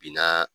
Bina